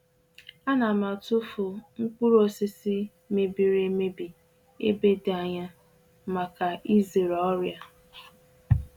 Ana m m atụfukarị mkpụrụ osisi rere ere n'ebe dị anya pụọ n'ala ahụ iji gbochie ibute ọrịa.